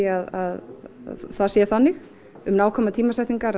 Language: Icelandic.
að það sé þannig nákvæmar tímasetningar